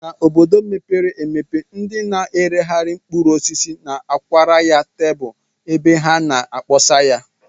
N'obodo mepere emepe, ndị na-eregharị mkpụrụosisi na-akwara ya tebụl ebe ha na-akpọsa ya